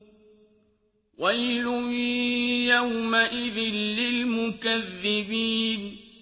وَيْلٌ يَوْمَئِذٍ لِّلْمُكَذِّبِينَ